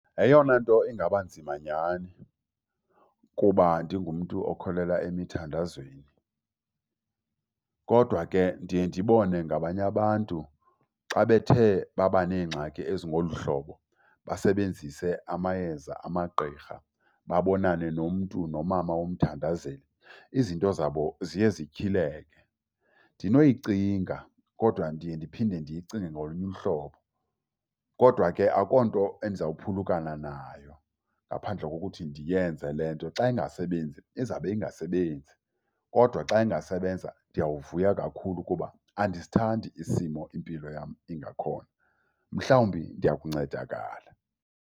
Yeyona nto ingaba nzima nyhani kuba ndingumntu okholelwa emithandazweni. Kodwa ke ndiye ndibone ngabanye abantu xa bethe baba neengxaki ezingolu hlobo basebenzise amayeza amagqirha, babonane nomntu nomama womthandazeli, izinto zabo ziye zityhileke. Ndinoyicinga kodwa ndiye ndiphinde ndiyicinge ngolunye uhlobo. Kodwa ke akukho nto endizawuphulukana nayo ngaphandle kokuthi ndiyenze le nto. Xa ingasebenzi, izabe ingasebenzi. Kodwa xa ingasebenza ndiyawuvuya kakhulu kuba andisithandi isimo impilo yam ingakhona, mhlawumbi ndiya kuncedakala.